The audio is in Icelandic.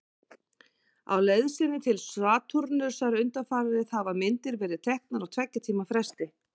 Á leið sinni til Satúrnusar undanfarið hafa myndir verið teknar á tveggja tíma fresti.